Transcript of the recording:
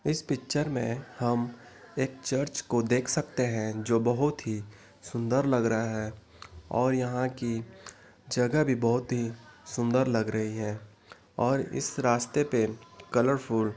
इस पिक्चर में हम एक चर्च को देख सकते है जो बहुत ही सुंदर लग रहा है और यहाँ की जगह भी बहुत ही सुंदर लग रही है और इस रास्ते पे कलरफुल --